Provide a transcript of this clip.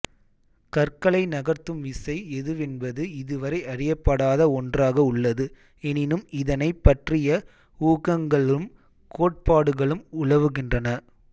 கற்களை நகர்த்தும் விசை எதுவென்பது இதுவரை அறியப்படாத ஒன்றாக உள்ளது எனினும் இதனைப் பற்றிய ஊகங்களும் கோட்பாடுகளும் உலாவுகின்றன